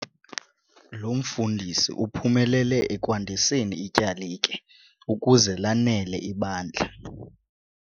Lo mfundisi uphumelele ekwandiseni ityalike ukuze lanele ibandla.